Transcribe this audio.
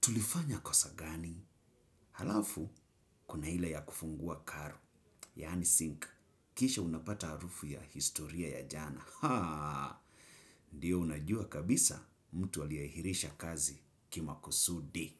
Tulifanya kosa gani. Halafu, kuna ila ya kufungua karo. Yani sink. Kisha unapata harufu ya historia ya jana. Ndiyo unajua kabisa mtu aliahirisha kazi kimaksudi.